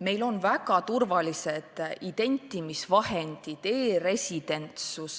Meil on väga turvalised identimisvahendid, e-residentsus,